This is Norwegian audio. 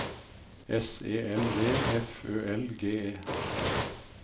S E L V F Ø L G E